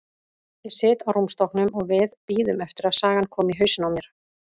Ég sit á rúmstokknum og við bíðum eftir að sagan komi í hausinn á mér.